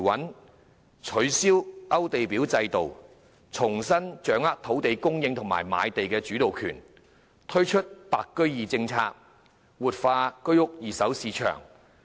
政府亦取消勾地表制度，重新掌握土地供應及賣地的主導權，又推行"白居二"政策，活化二手居屋市場。